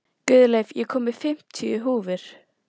Guðleif, ég kom með fimmtíu húfur!